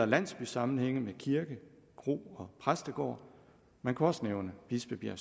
landsbysammenhænge med kirke kro og præstegård man kunne også nævne bispebjerg